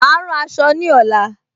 Mà á rán aṣọ ní ọ̀la